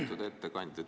Austatud ettekandja!